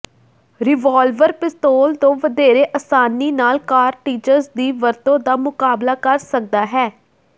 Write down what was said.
revolver ਪਿਸਤੌਲ ਤੋਂ ਵਧੇਰੇ ਆਸਾਨੀ ਨਾਲ ਕਾਰਟਿਰੱਜ ਦੀ ਵਰਤੋਂ ਦਾ ਮੁਕਾਬਲਾ ਕਰ ਸਕਦਾ ਹੈ